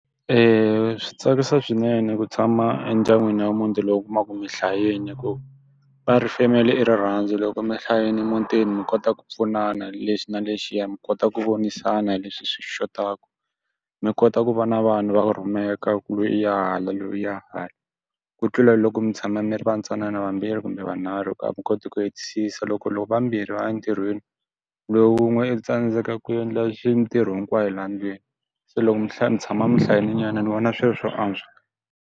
swi tsakisa swinene ku tshama endyangwini wa muti lowu u kumaka ku mi hlayile hikuva, va ri family i rirhandzu loko mi hlayile emutini mi kota ku pfunana hi lexi na lexiya, mi kota ku vonisana leswi swi xotaka. Mi kota ku va na vanhu va ku rhumeka ku ri loyi i ya hala loyi u ya hala. Ku tlula hi loko mi tshama mi ri va ntsanana vambirhi kumbe vanharhu, a mi koti ku hetisisa loko vambirhi va ya entirhweni, loyi un'we u tsandzeka ku endla xi mitirho hinkwayo laha ndlwini. Se loko mi hla mi tshama mi hlayilenyana ni vona swi ri swo antswa.